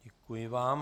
Děkuji vám.